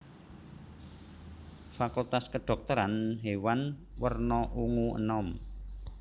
Fakultas Kedhokteran Hewan werna ungu enom